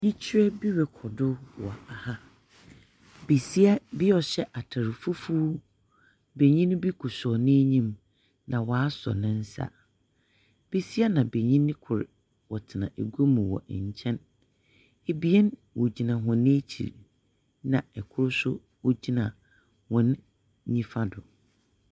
Oyikyerɛ bi rokɔ do wɔ ha. Besia bi a ɔhyɛ atar fufuw, benyin bi koto nenyim, na wasɔ ne nsa. Besia na benyin kor wɔtena agua mu wɔ nkyɛn. Ebien wɔgyina hɔn ekyir, na kor nso ɔgyina wɔn nifa do.